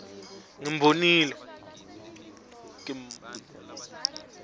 ngimbonile